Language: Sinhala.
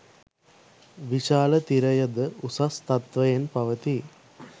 විශාල තිරය ද උසස් තත්වයෙන් පවතී.